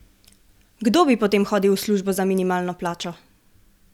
Kdo bi potem hodil v službo za minimalno plačo?